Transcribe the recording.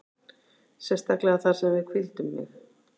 Sérstaklega þar sem að við hvíldum mig.